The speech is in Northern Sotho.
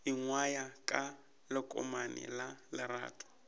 ingwaya ka lekomane la lerato